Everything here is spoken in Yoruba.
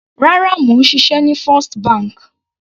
Rárá, mò ń ṣiṣẹ́ ní First bank.